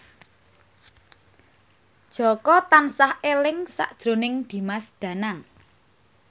Jaka tansah eling sakjroning Dimas Danang